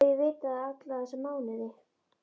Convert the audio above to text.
Líklega hef ég vitað það alla þessa mánuði.